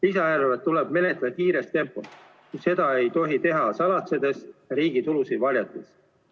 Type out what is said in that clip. Lisaeelarvet tuleb menetleda kiires tempos, kuid seda ei tohi teha salatsedes ja riigi tulusid varjates.